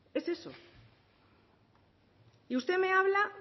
es eso y usted me habla